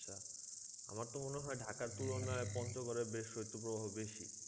আমার তো মনে হয় ঢাকার তুলনায় পঞ্চগড়ে বেশ শৈত্যপ্রবাহ বেশি